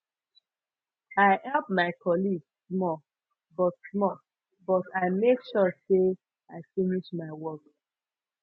i help my colleague small but small but i make sure sey i finish my work